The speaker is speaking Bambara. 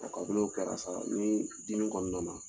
A kabini o de kɛra sa ni dimi nana